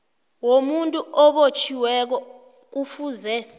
womuntu obotjhiweko kufuze